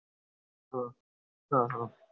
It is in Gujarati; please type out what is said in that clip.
હા હા